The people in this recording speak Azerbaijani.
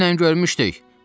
Dünən görmüşdük.